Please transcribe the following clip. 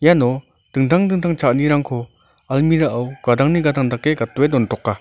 iano dingtang dingtang cha·anirangko almira o gadangni gadang dake gatdoe dontoka.